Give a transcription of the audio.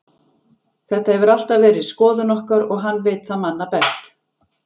Þetta hefur alltaf verið skoðun okkar og hann veit það manna best.